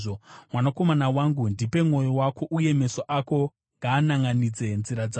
Mwanakomana wangu, ndipe mwoyo wako uye meso ako ngaananʼanidze nzira dzangu,